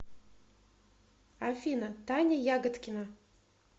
афина таня ягодкина